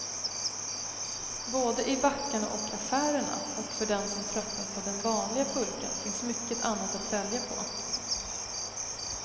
Både i backarna och affärerna, och för den som tröttnat på den vanliga pulkan finns mycket annat att välja på.